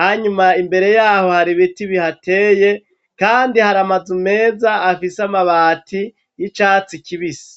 hanyuma imbere yaho har'ibiti bihateye kandi har'amazu meza afise amabati y'icatsi kibisi.